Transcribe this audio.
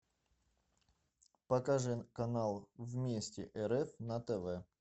покажи канал вместе рф на тв